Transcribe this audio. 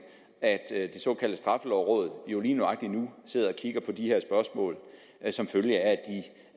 at det såkaldte straffelovråd jo lige nøjagtig nu sidder og kigger på de her spørgsmål som følge af